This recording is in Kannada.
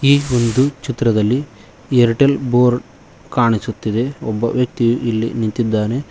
ಈ ಒಂದು ಚಿತ್ರದಲ್ಲಿ ಏರ್ಟೆಲ್ ಬೋರ್ಡ್ ಕಾಣಿಸುತ್ತಿದೆ ಒಬ್ಬ ವ್ಯಕ್ತಿಯು ಇಲ್ಲಿ ನಿಂತಿದ್ದಾನೆ.